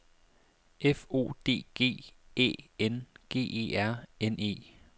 F O D G Æ N G E R N E